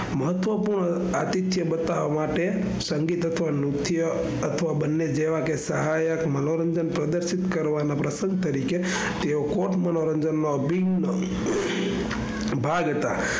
મહત્વપૂર્ણ અતિકયા બતાવ માટે સંગીત અથવા મુખ્ય અથવા બન્ને જેવા કે સહાયક મનોરંજન પ્રદર્શિત કરવાના પ્રસંગ તરીકે તેઓ કોટ મનોરંજન નો અભિન્ન ભાગ હતા.